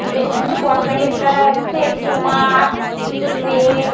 বেশ কিছু কসমেটিকস দেখা যাচ্ছে। কিছু মাস্ক কিছু জেল ।